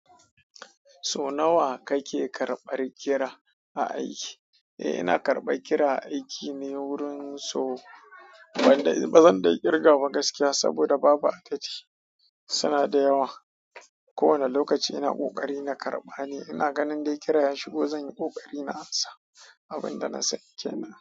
So nawa kake karɓar kira a aiki? Eh ina karɓar kira a aiki ne wurin sau, ban da bazan da kirgawa gaskiya saboda babu adadi. Suna da yawa. Ko wane lokaci ina ƙoƙari na karɓa ne. Ina ganin dai kira ya shigo zan yi ƙoƙari na amsa abin da na sani kenan.